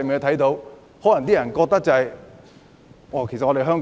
可能外國人會覺得香